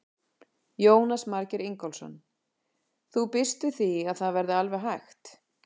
Jónas Margeir Ingólfsson: Þú býst við því að það verði alveg hægt?